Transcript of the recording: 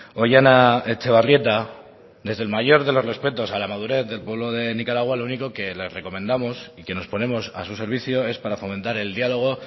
ohiana etxebarrieta desde el mayor de los respetos a la madurez del pueblo de nicaragua lo único que le recomendamos y que nos ponemos a su servicio es para fomentar el diálogo